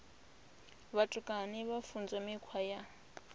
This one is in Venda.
vhutukani vha funzwa mikhwa ya